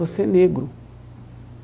Você é negro.